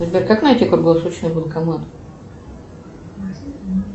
сбер как найти круглосуточный банкомат